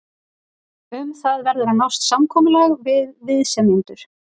Um það verður að nást samkomulag við viðsemjendur.